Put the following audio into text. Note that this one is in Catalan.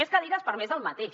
més cadires per a més del mateix